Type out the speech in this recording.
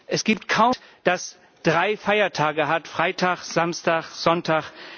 Es gibt kaum ein Land, das drei Feiertage hat Freitag Samstag, Sonntag.